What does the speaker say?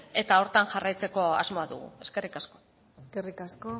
eta horretan jarraitzeko asmoa dugu eskerrik asko eskerrik asko